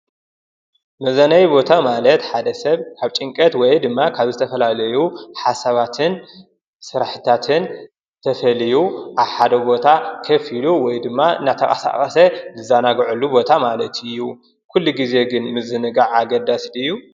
መዝነነይ ቦታ ማለት ሓደ ሰብ ካብ ጭንቀት ወይ ድማ ካብ ዝተፈላለዩ ሓሳባትን ስራሕታትን ተፈልዩ ኣብሓደ ቦታ ከፍ ኢሉ ወይ ድማ እናተንቀሳቀሰ ዝዛናጕዐሉ ቦታ ማለት እዩ ። ኩሉ ግዜ ግን ምዝንጋዕ ኣገዳሲ ድዩ?